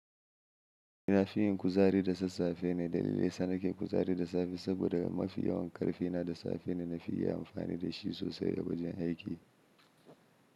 Na fi yin kuzari da sassafe ne, dalili yasa na ke kuzari da safe saboda mafi yawan ƙarfi na da safe ne. Na fi iya amfani da shi sosai a wajen aiki.